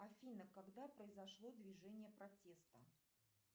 афина когда произошло движение протеста